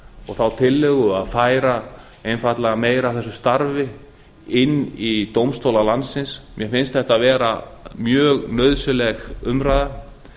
og þá tillögu að færa einfaldlega meira af þessu starfi inn í dómstóla landsins mér finnst þetta vera mjög nauðsynleg umræða